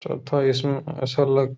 थो- इसमें ऐसा लग --